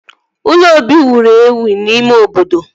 Ụlọ obi wụrụ ewụ n'ime obodo